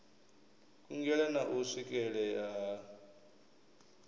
kungela na u swikelea ha